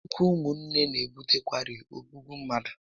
Anya úkwú ụmụ nné n'ebutekarị ogbúgbú mmadụ